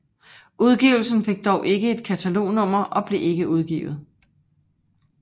Udgivelsen fik dog ikke et katalognummer og blev ikke udgivet